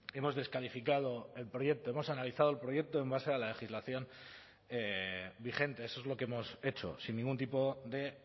hemos descalificado el proyecto hemos analizado el proyecto en base a la legislación vigente eso es lo que hemos hecho sin ningún tipo de